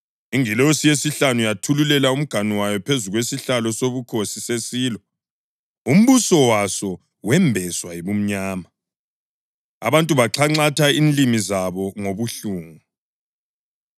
Ingilosi yesihlanu yathululela umganu wayo phezu kwesihlalo sobukhosi sesilo, umbuso waso wembeswa yibumnyama. Abantu baxhanxatha inlimi zabo ngobuhlungu,